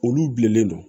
Olu bilennen don